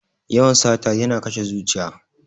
Yawan sata yana kashe zuciya.